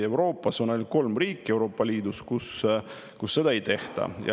Euroopa Liidus on ainult kolm riiki, kus seda ei tehta.